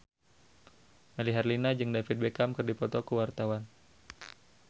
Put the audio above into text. Melly Herlina jeung David Beckham keur dipoto ku wartawan